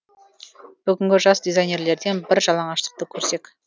бүгінгі жас дизайнерлерден бір жаңалшылдықты көрсек